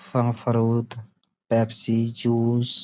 Pepsi juice --